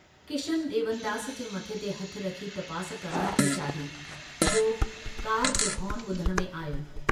किशन ड्रेवनदास जे मथे ते हथु रखी तपास करणु थे चाही जो कार जो हॉर्न बुधण में आयो।